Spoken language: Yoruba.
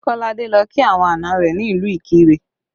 Kolade lọ kí àwọn àná rẹ ní ìlú Ikire